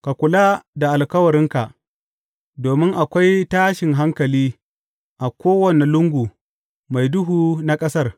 Ka kula da alkawarinka, domin akwai tashin hankali a kowane lungu mai duhu na ƙasar.